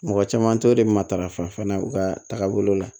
Mɔgɔ caman tɛ o de bɛ matarafa fana u ka taabolo la